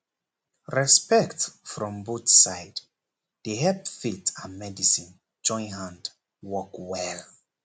respect from both side dey help faith and medicine join hand work well